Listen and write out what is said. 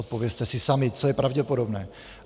Odpovězte si sami, co je pravděpodobné.